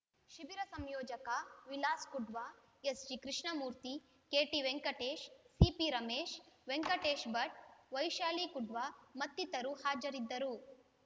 ಶಿಬಿರ ಸಂಯೋಜಕ Vilas Kudva S G Krishnamurthy K T Venkatesh C P Ramesh Venkatesh Bhat Vaishali Kudva ಮತ್ತಿತರು ಹಾಜರಿದ್ದರು